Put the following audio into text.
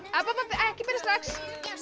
ekki byrja strax